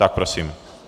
Tak prosím.